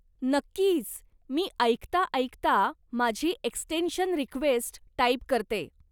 नक्कीच, मी ऐकता ऐकता माझी एक्स्टेन्शन रिक्वेस्ट टाईप करते.